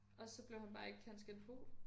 Og så blev han bare ikke cand.scient.pol